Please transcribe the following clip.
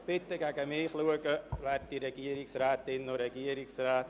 Bitte schauen Sie in meine Richtung, werte Regierungsrätinnen und Regierungsräte.